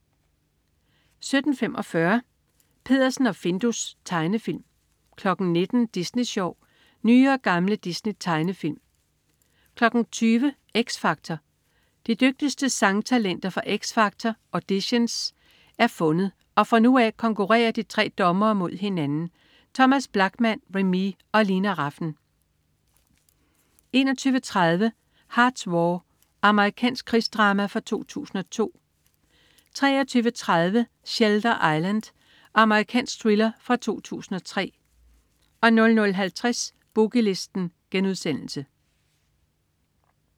17.45 Peddersen og Findus. Tegnefilm 19.00 Disney Sjov. Nye og gamle Disney-tegnefilm 20.00 X Factor. De dygtigste sangtalenter fra X Factor, auditions, er fundet, og fra nu af konkurrerer de tre dommere mod hinanden. Thomas Blachman, Remee og Lina Rafn 21.30 Hart's War. Amerikansk krigsdrama fra 2002 23.30 Shelter Island. Amerikansk thriller fra 2003 00.50 Boogie Listen*